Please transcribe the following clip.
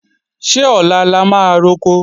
Ṣé ọ̀la la máa roko?